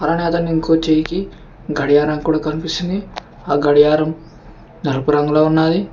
ఇంకో చెయ్యికి గడియారం కూడా కనిపిస్తుంది ఆ గడియారం నలుపు రంగులో ఉన్నది.